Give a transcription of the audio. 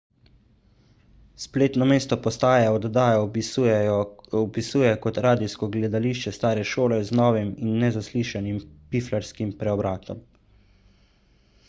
spletno mesto postaje oddajo opisuje kot radijsko gledališče stare šole z novim in nezaslišanim piflarskim preobratom